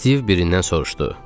Stiv birindən soruşdu.